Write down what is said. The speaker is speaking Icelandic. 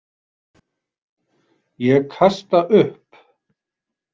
Ég kasta upp.